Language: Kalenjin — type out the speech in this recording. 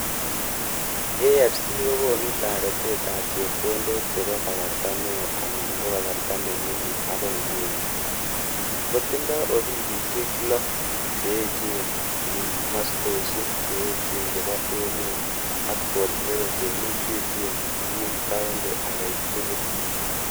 AfC ko konu taretet ap chepkondok che po kasarta neo anan ko kasarta ne mining ako nguni, ko tindoi ofisishek lo(6) che echen ing mastoshek che echen chepo emet ak 47 che mechechen ing county agei tugul.